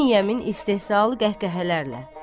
İbn Yəmin istehzalı qəhqəhələrlə.